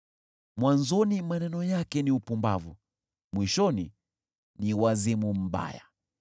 Mwanzoni maneno yake ni upumbavu, mwishoni ni wazimu mbaya,